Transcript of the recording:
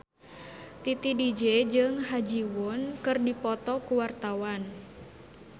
Titi DJ jeung Ha Ji Won keur dipoto ku wartawan